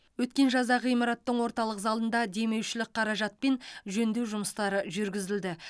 өткен жазда ғимараттың орталық залында демеушілік қаражатпен жөндеу жұмыстары жүргізілді